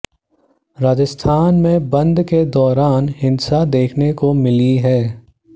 राजस्थान में बंद के दौरान हिंसा देखने को मिली है